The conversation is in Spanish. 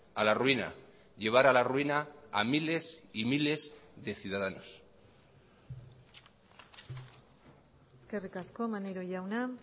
a la ruina llevar a la ruina a miles y miles de ciudadanos eskerrik asko maneiro jauna